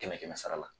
Kɛmɛ kɛmɛ sara la